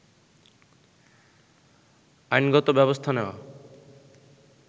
আইনগত ব্যবস্থা নেয়া